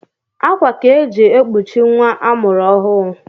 Akwa ka e ji ekpochi nwa a mụrụ ọhụụ